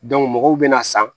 mɔgɔw bɛna san